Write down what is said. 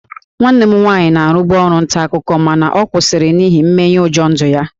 Nwanne m nwaanyị na-arụbu ọrụ nta akụkọ mana ọ kwụsịrị n'ihi mmenyeụjọ ndụ ya